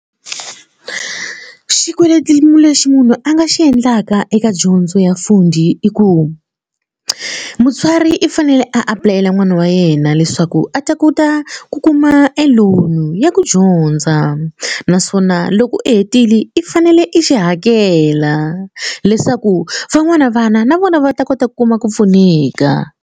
Xikweleti lexi munhu a nga xi endlaka eka dyondzo ya Fundi i ku mutswari i fanele a apulayela n'wana wa yena leswaku a ta kota ku kuma e loan ya ku dyondza naswona loko i hetile i fanele i xi hakela leswaku van'wana vana na vona va ta kota ku kuma ku pfuneka.